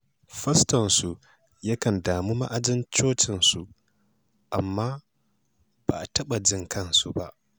Fastonsu yakan damu ma'ajin cocinsu, amma ba a taɓa jin kansu ba.